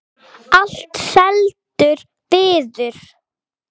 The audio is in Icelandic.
Allt seldur viður.